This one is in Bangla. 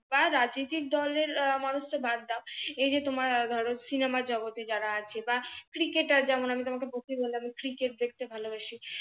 বা রাজনৈতিক দলের মানুষ তো বাদ দাও এই যে তোমার ধরো সিনেমার জগতে যারা আছে বা ক্রিকেটার যেমন আমি তোমাকে ক্রিকেট দেখতে ভালোবাসি